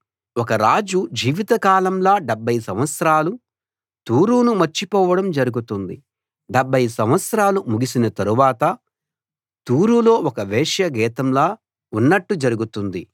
ఒక రాజు జీవిత కాలంలా డెబ్భై సంవత్సరాలు తూరును మర్చిపోవడం జరుగుతుంది డెబ్భై సంవత్సరాలు ముగిసిన తర్వాత తూరులో ఒక వేశ్యా గీతంలో ఉన్నట్టు జరుగుతుంది